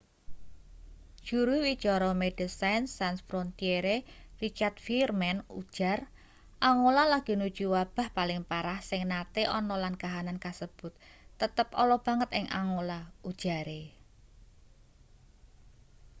juru wicara medecines sans frontiere richard veerman ujar angola lagi nuju wabah paling parah sing nate ana lan kahanan kasebut tetep ala banget ing angola ujare